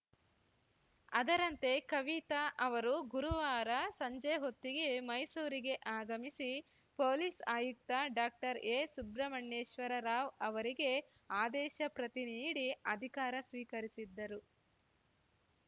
ಅದರಂತೆ ಕವಿತಾ ಅವರು ಗುರುವಾರ ಸಂಜೆ ಹೊತ್ತಿಗೆ ಮೈಸೂರಿಗೆ ಆಗಮಿಸಿ ಪೊಲೀಸ್‌ ಆಯುಕ್ತ ಡಾಕ್ಟರ್ ಎ ಸುಬ್ರಮಣ್ಯೇಶ್ವರ ರಾವ್‌ ಅವರಿಗೆ ಆದೇಶ ಪ್ರತಿ ನೀಡಿ ಅಧಿಕಾರ ಸ್ವೀಕರಿಸಿದ್ದರು